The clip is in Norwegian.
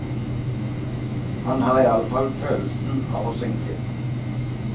Han har iallfall følelsen av å synke.